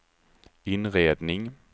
inredning